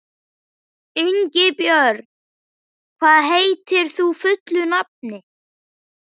Ingibjörn, hvað heitir þú fullu nafni?